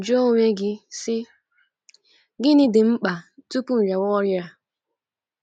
Jụọ onwe gị, sị: Gịnị dị m mkpa tupu m rịawa ọrịa?